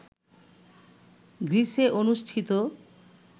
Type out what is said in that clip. গ্রীসে অনুষ্ঠিত